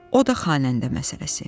O da xanəndə məsələsi.